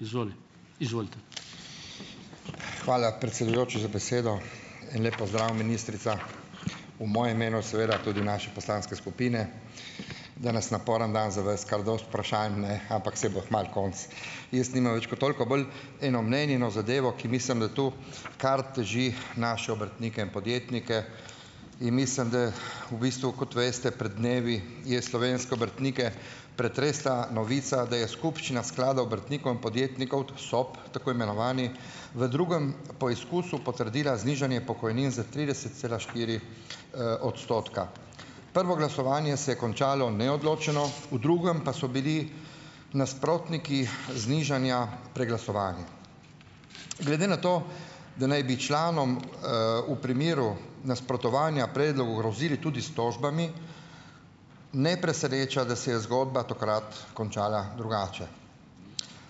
Izvoli. Izvolite. Hvala, predsedujoči za besedo. En lep pozdrav, ministrica, v mojem imenu seveda tudi naše poslanske skupine. Danes naporen dan za vas, kar dosti vprašanj, ne, ampak saj bo kmalu konec. Jaz nimam več kot toliko. Bolj eno mnenje, eno zadevo, ki mislim, da tu kar teži naše obrtnike in podjetnike, in mislim, da v bistvu, kot veste, pred dnevi je slovenske obrtnike pretresla novica, da je skupščina Skladov obrtnikom in podjetnikov, SOP, tako imenovani, v drugem poizkusu potrdila znižanje pokojnin za trideset cela štiri, odstotka. Prvo glasovanje se je končalo neodločeno, v drugem pa so bili nasprotniki znižanja preglasovani. Glede na to, da naj bi članom, v primeru nasprotovanja predlogu grozili tudi s tožbami, ne preseneča, da se je zgodba takrat končala drugače.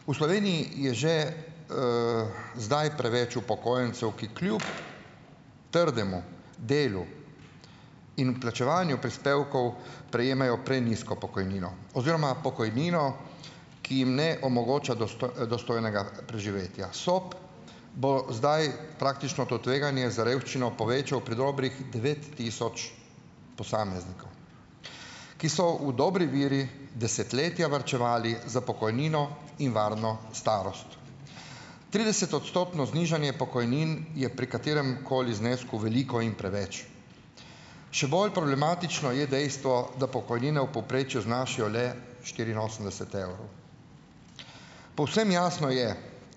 V Sloveniji je že, zdaj preveč upokojencev, ki kljub trdemu delu in plačevanju prispevkov, prejemajo prenizko pokojnino oziroma pokojnino, ki jim ne omogoča dostojnega preživetja. SOP bo zdaj praktično to tveganje za revščino povečal predobrih devet tisoč posameznikov, ki so v dobri veri desetletja varčevali za pokojnino in varno starost. Tridesetodstotno znižanje pokojnin je pri kateremkoli znesku veliko in preveč. Še bolj problematično je dejstvo, da pokojnine v povprečju znašajo le štiriinosemdeset evrov. Povsem jasno je,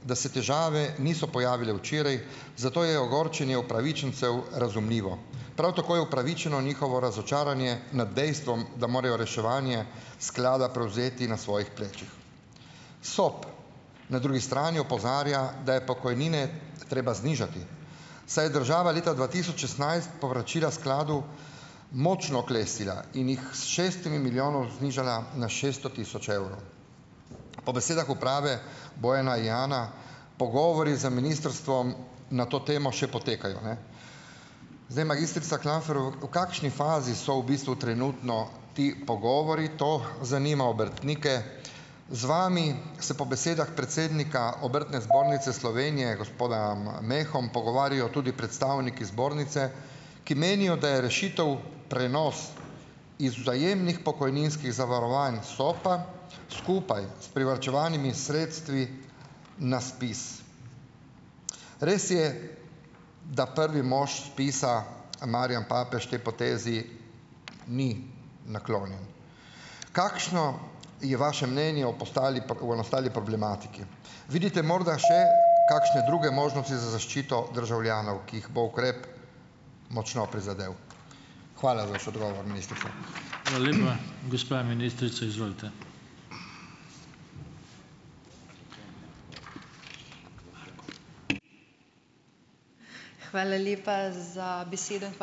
da se težave niso pojavile včeraj, zato je ogorčenje upravičencev razumljivo. Prav tako je upravičeno njihovo razočaranje nad dejstvom, da morajo reševanje sklada prevzeti na svojih plečih. SOP na drugi strani opozarja, da je pokojnine treba znižati, saj je država leta dva tisoč šestnajst povračila skladu močno oklestila in jih s šestih milijonov znižala na šesto tisoč evrov. Po besedah uprave, Bojana Jana, pogovori z ministrstvom na to temo še potekajo, ne? Zdaj, magistrica v kakšni fazi so v bistvu trenutno ti pogovori? To zanima obrtnike. Z vami se po besedah predsednika Obrtne zbornice Slovenije, gospoda, Meha, pogovarjajo tudi predstavniki zbornice, ki menijo, da je rešitev prenos iz vzajemnih pokojninskih zavarovanj SOP-a, skupaj s privarčevanimi sredstvi na SPIZ. Res je, da prvi mož ZPIZ-a Marjan Papež tej potezi ni naklonjen. Kakšno je vaše mnenje o postali, nastali problematiki? Vidite morda še kakšne druge možnosti za zaščito državljanov, ki jih bo ukrep močno prizadel? Hvala za vaš odgovor, ministrica. Hvala lepa , gospa ministrica, izvolite. Hvala lepa za besedo in ...